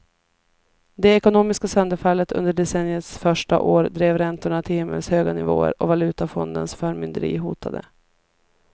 Det ekonomiska sönderfallet under decenniets första år drev räntorna till himmelshöga nivåer och valutafondens förmynderi hotade.